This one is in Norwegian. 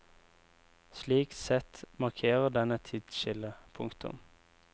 Slik sett markerer den et tidsskille. punktum